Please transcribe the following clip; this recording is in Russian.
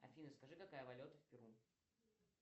афина скажи какая валюта в перу